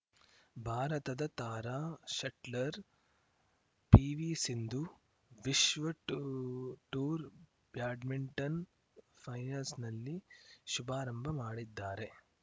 ಭಾರತದ ತಾರಾ shuttler PV Sindhu ವಿಶ್ವ ಟೂ ಟೂರ್‌ ಬ್ಯಾಡ್ಮಿಂಟನ್‌ ಫೈನಲ್ಸ್‌ನಲ್ಲಿ ಶುಭಾರಂಭ ಮಾಡಿದ್ದಾರೆ